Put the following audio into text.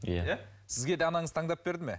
иә сізге де анаңыз таңдап берді ме